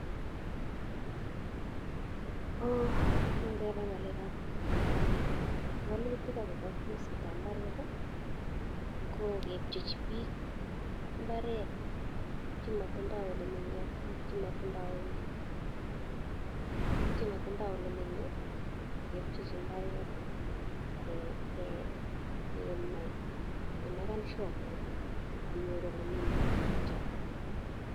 Ngebe ng'alekab wolutik agobo kesitab mbaret ii, kokepchechi biik mbaret che motindo ole menye ak chemotindo, biik chemotindo ole menye kepchechi mbaret ak kenai kemeken sure kele kanyor ole menye biichoto.